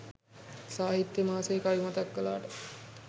සාහිත්‍ය මාසේ කවි මතක් කලාට